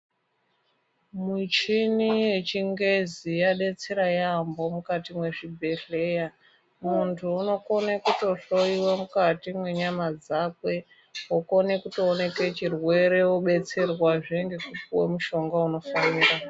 Muchini yechingezi yadetsera yaamho mukati mwezvibhedhleya. Muntu uno kone kuto hloyiwa mukati mwenyama dzakwe, wokone kutooneke chirwere, wobetserwazve ngeku puwe mushonga unofanira.